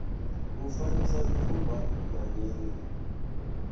u fanyisa dzuvha na mini